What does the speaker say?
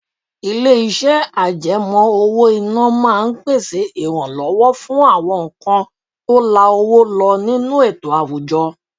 Ilé-iṣẹ́ àjẹmó owó-ìná máa ń pèsè ìrànlọ́wọ́ fún àwọn nǹkan tó la owó lọ nínú ètò àwùjọ.